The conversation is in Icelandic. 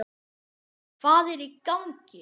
HVAÐ ER Í GANGI??